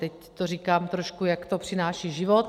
Teď to říkám trošku, jak to přináší život.